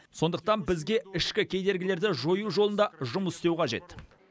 сондықтан бізге ішкі кедергілерді жою жолында жұмыс істеу қажет